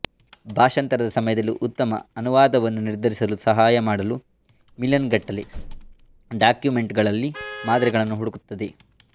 ಭಾಷಾಂತರದ ಸಮಯದಲ್ಲಿ ಉತ್ತಮ ಅನುವಾದವನ್ನು ನಿರ್ಧರಿಸಲು ಸಹಾಯ ಮಾಡಲು ಮಿಲಿಯನ್ಗಟ್ಟಲೆ ಡಾಕ್ಯುಮೆಂಟ್ಗಳಲ್ಲಿ ಮಾದರಿಗಳನ್ನು ಹುಡುಕುತ್ತದೆ